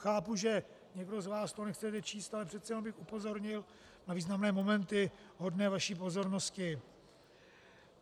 Chápu, že někdo z vás to nechce číst, ale přece jen bych upozornil na významné momenty hodné vaší pozornosti.